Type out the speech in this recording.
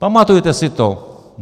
Pamatujte si to.